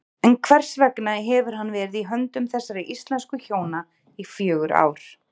En hvers vegna hefur hann verið í höndum þessara íslensku hjóna í fjögur ár?